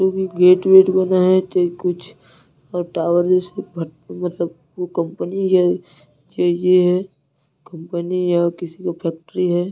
जो भी गेट वेट बना है चाहे कुछ और टावर जैसे बट मतलब वो कंपनी है ज ज कंपनी या किसी का फैक्ट्री है।